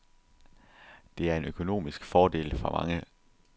Det er en økonomisk fordel for mange.